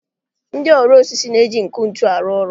Ndị ọrụ osisi na-eji nkụ ntu arụ ọrụ.